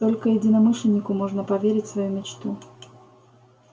только единомышленнику можно поверить свою мечту